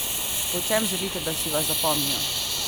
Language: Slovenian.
Po čem želite, da si vas zapomnijo?